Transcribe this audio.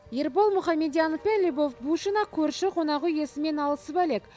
ербол мұхамедьянов пен любовь бушина көрші қонақүй иесімен алысып әлек